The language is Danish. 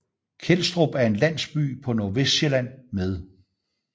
Kelstrup er en landsby på Nordvestsjælland med